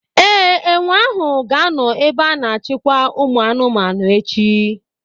Ee, enwe ahụ ga-anọ n'ebe a na-achịkwa ụmụ anụmanụ echi.